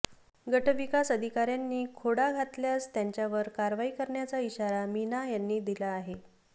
गटविकास अधिकार्यांनी खोडा घातल्यास त्यांच्यावरच कारवाई करण्याचा इशारा मीना यांनी दिला आहे